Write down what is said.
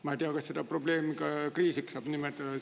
Ma ei tea, kas seda probleemi saab kriisiks nimetada.